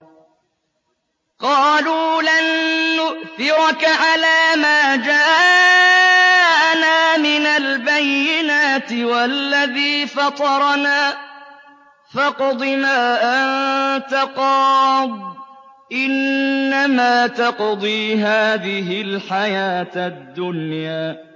قَالُوا لَن نُّؤْثِرَكَ عَلَىٰ مَا جَاءَنَا مِنَ الْبَيِّنَاتِ وَالَّذِي فَطَرَنَا ۖ فَاقْضِ مَا أَنتَ قَاضٍ ۖ إِنَّمَا تَقْضِي هَٰذِهِ الْحَيَاةَ الدُّنْيَا